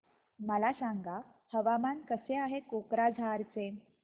मला सांगा हवामान कसे आहे कोक्राझार चे